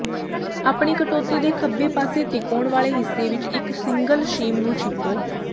ਆਪਣੀ ਕਟੌਤੀ ਦੇ ਖੱਬੇ ਪਾਸੇ ਤਿਕੋਣ ਵਾਲੇ ਹਿੱਸੇ ਵਿੱਚ ਇੱਕ ਸਿੰਗਲ ਸ਼ੀਮ ਨੂੰ ਛਿਪੋ